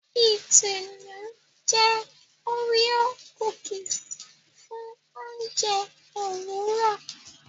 Itunu jé Oreo cookies fún oúnjẹ Òwúrọ